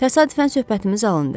Təsadüfən söhbətimiz alındı.